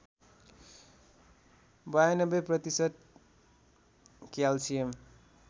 ९२ प्रतिशत क्याल्सियम